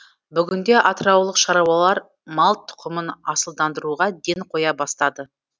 бүгінде атыраулық шаруалар мал тұқымын асылдандыруға ден қоя бастады